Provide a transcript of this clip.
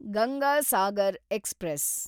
Ganga Sagar express